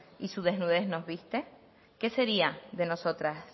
y su desnudez nos viste qué sería de nosotras